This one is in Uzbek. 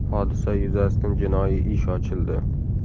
Hodisa yuzasidan jinoiy ish ochildi.